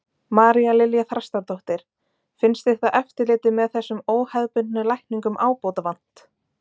María Lilja Þrastardóttir: Finnst þér þá eftirliti með þessum óhefðbundnu lækningum ábótavant?